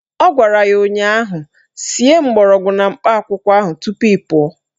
Ọ gwara ya ụnyaahụ "Sie mgbọrọgwụ na mkpa akwụkwọ ahụ tupu ị pụọ"